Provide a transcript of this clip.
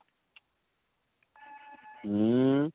ଉଁ